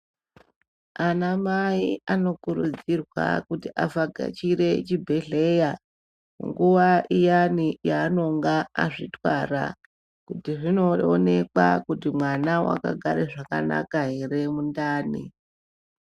Anamai anokurudzirwa kuti avhakachire kuchibhedhlera nguwa iyani yavanenge vakadzitwara kuti zvindoonekwa kuti mwana akagara zvakanaka ere mundani.